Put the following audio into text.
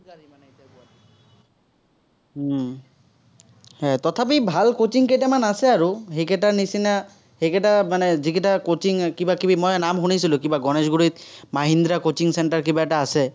উম এ তথাপি ভাল coaching কেইটামান আছে আৰু। সেইকেইটা নিচিনা, সেইকেইটা মানে যিকিটা coaching কিবা-কিবি মই নাম শুনিছিলো, কিবা গনেশগুৰিত মাহিন্দ্ৰ coaching centre কিবা এটা আছে।